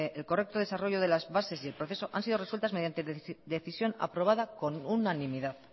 el correcto desarrollo de las bases y el proceso han sido resueltas con decisión aprobada con unanimidad